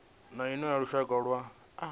na iṅwe ya lushaka lwa